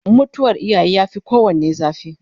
mutuwar iyaye ya Fi kowanne zafi